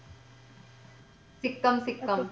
Sikkim Sikkim